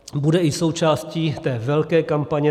Bude i součástí té velké kampaně.